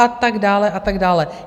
A tak dále, a tak dále.